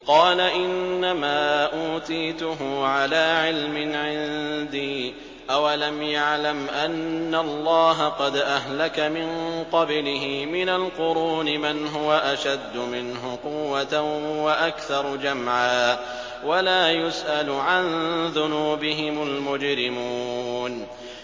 قَالَ إِنَّمَا أُوتِيتُهُ عَلَىٰ عِلْمٍ عِندِي ۚ أَوَلَمْ يَعْلَمْ أَنَّ اللَّهَ قَدْ أَهْلَكَ مِن قَبْلِهِ مِنَ الْقُرُونِ مَنْ هُوَ أَشَدُّ مِنْهُ قُوَّةً وَأَكْثَرُ جَمْعًا ۚ وَلَا يُسْأَلُ عَن ذُنُوبِهِمُ الْمُجْرِمُونَ